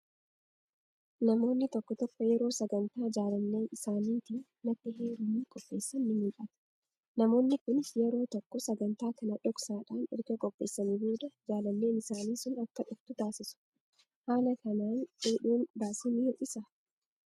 Namoonni tokko tokko yeroo sagantaa jaalallee isaaniitiin natti heerumii qopheessan ni mul'ata. Namoonni kunis yeroo tokko sagantaa kana dhoksaadhaan erga qopheessanii boodde jaalalleen isaanii sun akka dhuftu taasisu. Haala kanaan fuudhuun baasii ni hir'isaa?